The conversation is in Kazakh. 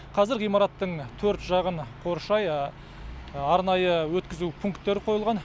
қазір ғимараттың төрт жағын қоршай арнайы өткізу пункттері қойылған